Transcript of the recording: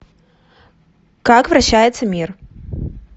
как вращается мир